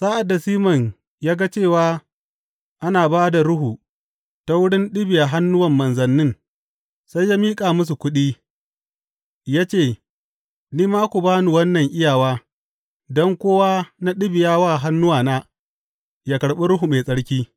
Sa’ad da Siman ya ga cewa ana ba da Ruhu ta wurin ɗibiya hannuwan manzannin, sai ya miƙa musu kuɗi, ya ce, Ni ma ku ba ni wannan iyawa don kowa na ɗibiya wa hannuwana yă karɓi Ruhu Mai Tsarki.